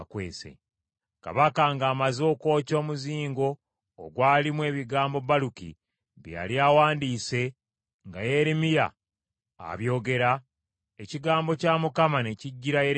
Kabaka ng’amaze okwokya omuzingo ogwalimu ebigambo Baluki bye yali awandiise nga Yeremiya abyogera, ekigambo kya Mukama ne kijjira Yeremiya nti,